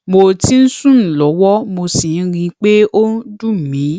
mo ti ń sùn lọwọ mo sì ń rí i pé ó ń dun mi